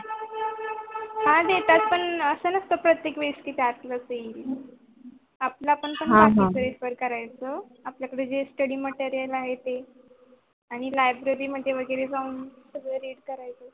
हा देतात पन अस नसत प्रतेक वेळी कि त्यातलाच देईल आपल पण Preparation करायच आपल्या कडे जे study material आहे ते आणि Library मध्ये वैगेरे जाऊन